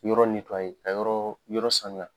Yɔrɔ ka yɔrɔ yɔrɔ sanuya.